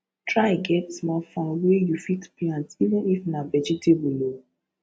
try get small farm wey you fit plant even if na vegetable o